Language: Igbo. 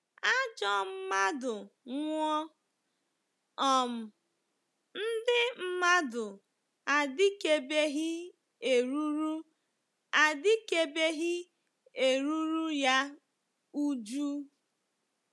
Ajọ mmadụ nwụọ, um ndị mmadụ adịkebeghị eruru adịkebeghị eruru ya újú.